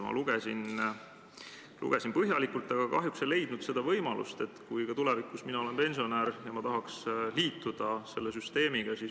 Ma lugesin eelnõu – lugesin põhjalikult, aga kahjuks ei leidnud seda võimalust, kuidas mina, kes ma tulevikus ka olen pensionär, saaksin liituda selle süsteemiga.